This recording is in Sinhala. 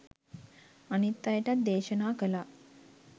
අනිත් අයටත් දේශනා කළා